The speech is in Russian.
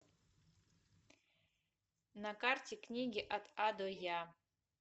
на карте книги от а до я